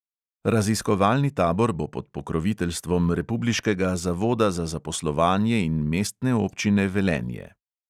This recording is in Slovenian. Raziskovalni tabor bo pod pokroviteljstvom republiškega zavoda za zaposlovanje in mestne občine velenje.